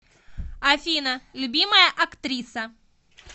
афина любимая актриса